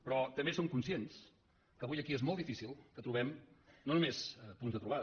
però també som conscients que avui aquí és molt difícil que trobem no només punts de trobada